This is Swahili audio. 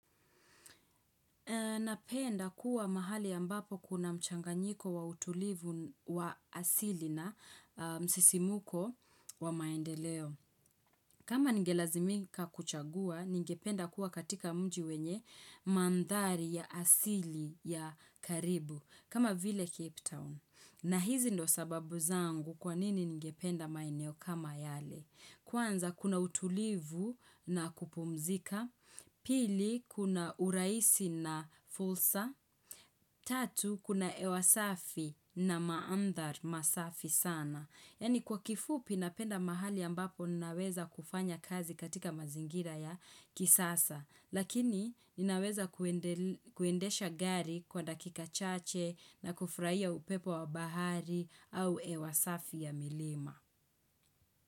Napenda kuwa mahali ambapo kuna mchanganyiko wa utulivu wa asili na msisimuko wa maendeleo. Kama ningelazimika kuchagua ningependa kuwa katika mji wenye mandhari ya asili ya karibu kama vile Cape Town. Na hizi ndo sababu zangu kwanini ningependa maeneo kama yale. Kwanza kuna utulivu na kupumzika. Pili kuna urahisi na fulsa Tatu kuna ewa safi na maandhar masafi sana. Yani kwa kifupi napenda mahali ambapo ninaweza kufanya kazi katika mazingira ya kisasa lakini naweza kuendel kuendesha gari kwa dakika chache na kufurahia upepo wa bahari au ewa safi ya milima.